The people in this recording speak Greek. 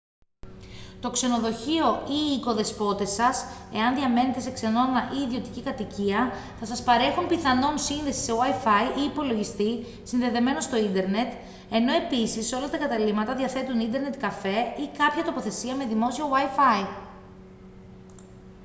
το ξενοδοχείο ή οι οικοδεσπότες σας εάν διαμένετε σε ξενώνα ή ιδιωτική κατοικία θα σας παρέχουν πιθανόν σύνδεση σε wifi ή υπολογιστή συνδεδεμένο στο ίντερνετ ενώ επίσης όλα τα καταλύματα διαθέτουν ίντερνετ καφέ ή κάποια τοποθεσία με δημόσιο wifi